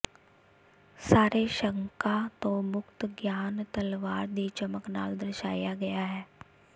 ਸਾਰੇ ਸ਼ੰਕਾਂ ਤੋਂ ਮੁਕਤ ਗਿਆਨ ਤਲਵਾਰ ਦੀ ਚਮਕ ਨਾਲ ਦਰਸਾਇਆ ਗਿਆ ਹੈ